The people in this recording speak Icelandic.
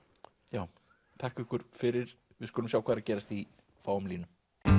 já þakka ykkur fyrir við skulum sjá hvað er að gerast í fáum línum